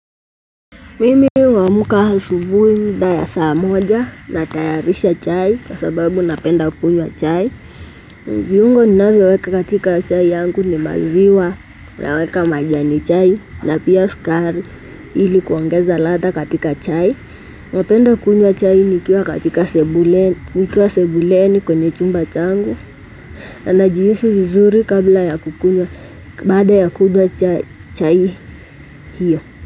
Mimi huamka asubuhi mida ya saa moja natayarisha chai kwa sababu napenda kunywa chai. Viungo ninavyoweka katika chai yangu ni maziwa naweka majani chai na pia skari ili kuongeza ladha katika chai. Napenda kunywa chai nikiwa katika sebuleni kwenye chumba changu. Na najihisi vizuri kabla ya kukunywa baada ya kunywa chai hiyo.